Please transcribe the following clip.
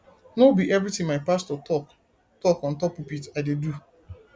no be everytin my pastor talk talk on top pulpit i dey do